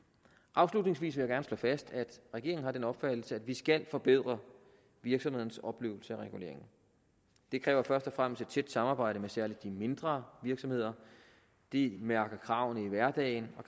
afslutningsvis vil jeg gerne slå fast at regeringen har den opfattelse at vi skal forbedre virksomhedernes oplevelse af regulering det kræver først og fremmest et tæt samarbejde med særligt de mindre virksomheder de mærker kravene i hverdagen